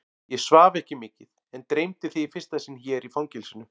Ég svaf ekki mikið en dreymdi þig í fyrsta sinn hér í fangelsinu.